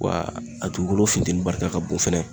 Wa a dugukolo funtɛni barika ka bon fɛnɛ